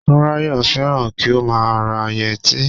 Túnráyọ̀ fẹ́ràn kí ó má a ra yẹtí